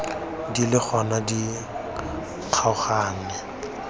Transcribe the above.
di le gona di kgaoganngwe